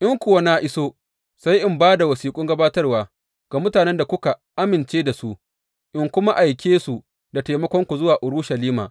In kuwa na iso sai in ba da wasiƙun gabatarwa ga mutanen da kuka amince da su, in kuma aike su da taimakonku zuwa Urushalima.